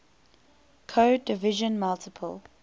code division multiple